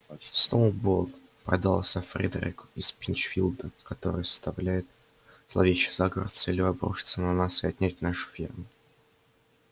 сноуболл продался фредерику из пинчфилда который составляет зловещий заговор с целью обрушиться на нас и отнять нашу ферму